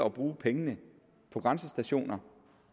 at bruge pengene på grænsestationer